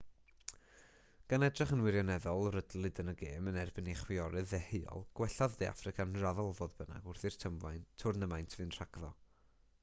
gan edrych yn wirioneddol rydlyd yn y gêm yn erbyn eu chwiorydd deheuol gwellodd de affrica'n raddol fodd bynnag wrth i'r twrnamaint fynd rhagddo